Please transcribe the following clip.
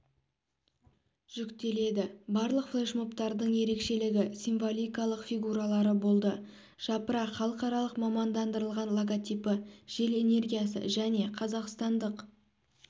жүктеледі барлық флешмобтардың ерекшелігі символикалық фигуралары болды жапырақ халықаралық мамандандырылған логотипі жел энергиясы және қазақстандық